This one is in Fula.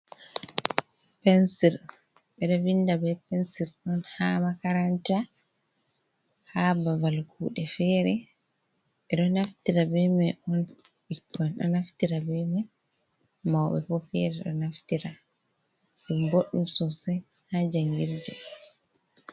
Pensir ɓe ɗo vinda be pensir on ha makaranta, ha babal kuuɗe fere, ɓe ɗo naftira be mai on ɓikkoi ɗon naftira be mai, mauɓe bo fere ɗo naftira ɗum bodɗum sosai ha jangirde.